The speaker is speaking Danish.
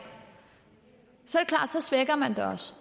er så svækker man det også